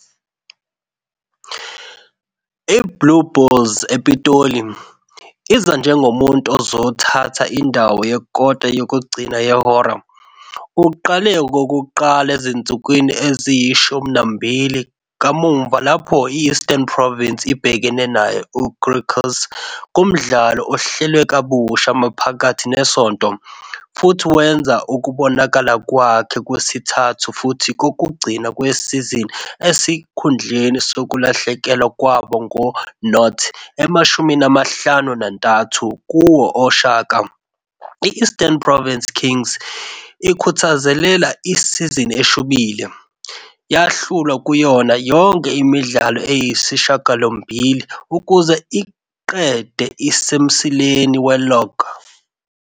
IBlue Bulls ePitoli, iza njengomuntu ozothatha indawo yekota yokugcina yehora. Uqale okokuqala ezinsukwini eziyi-12 kamuva lapho i-Eastern Province ibhekene nayo U-Griquas kumdlalo ohlelwe kabusha maphakathi nesonto, futhi wenza ukubonakala kwakhe kwesithathu futhi kokugcina kwesizini esikhundleni sokulahlekelwa kwabo ngo-0-53 kowe Oshaka. I-Eastern Province Kings ikhuthazelele isizini eshubile, yahlulwa kuyona yonke imidlalo eyisishiyagalombili ukuze iqede isemsileni we-log.